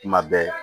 Kuma bɛɛ